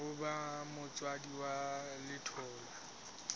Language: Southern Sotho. ho ba motswadi wa letholwa